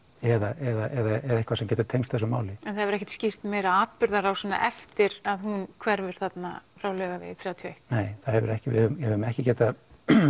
eða eitthvað sem getur tengst þessu máli en það hefur ekkert skýrt meira atburðarrásina eftir að hún hverfur þarna frá Laugavegi þrjátíu og eitt nei það hefur ekki við höfum ekki getað